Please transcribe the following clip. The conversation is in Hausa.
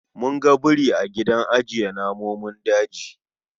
Mun ga biri a gidan ajiye namun daji